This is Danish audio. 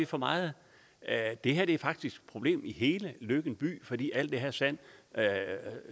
for meget det her er faktisk et problem i hele løkken by fordi alt det her sand